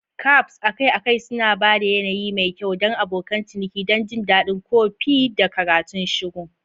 Cafes akai-akai suna ba da yanayi mai kyau don abokan ciniki don jin daɗin kofi da karatun shiru.